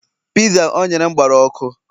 Piza o nyere m gbara ọkụ